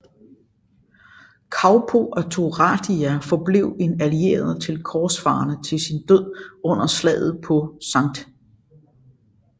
Kaupo af Turaida forblev en allieret til korsfarerne til sin død under Slaget på St